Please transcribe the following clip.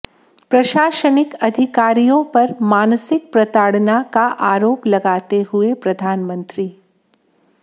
प्रशासनिक अधिकारियों पर मानसिक प्रताडऩा का आरोप लगाते हुये प्रधानमंत्री